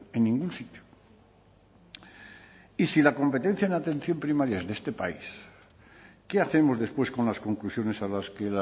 en ningún sitio y si la competencia en atención primaria es de este país qué hacemos después con las conclusiones a las que